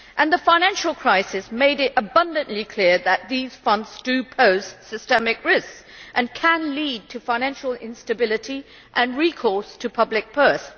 The financial crisis has made it abundantly clear that these funds pose systemic risks and can lead to financial instability and recourse to the public purse.